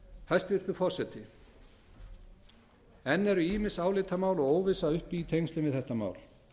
hæstvirtur forseti enn eru ýmis álitamál og óvissa uppi í tengslum við þetta mál